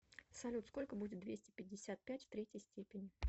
салют сколько будет двести пятьдесят пять в третьей степени